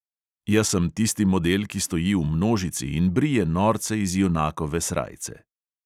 Jaz sem tisti model, ki stoji v množici in brije norce iz junakove srajce.